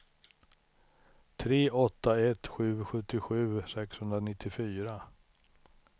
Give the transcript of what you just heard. tre åtta ett sju sjuttiosju sexhundranittiofyra